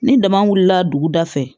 Ni dama wulila dugu da fɛ